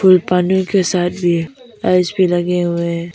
फूलपानी के साथ भी भी लगे हुए है।